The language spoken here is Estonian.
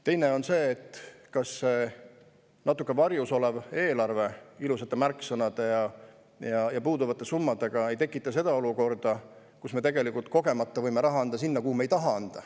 Teine küsimus on, kas see natuke varjus olev eelarve ilusate märksõnade ja puuduvate summadega ei tekita sellist olukorda, kus me võime kogemata anda raha sinna, kuhu me ei taha anda.